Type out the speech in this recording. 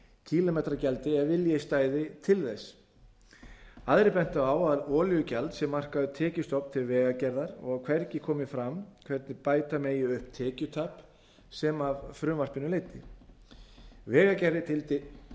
kílómetragjaldi ef vilji stæði til þess aðrir bentu á að olíugjald sé markaður tekjustofn til vegagerðar og að hvergi komi fram hvernig bæta megi upp tekjutap sem af frumvarpinu leiddi vegagerðin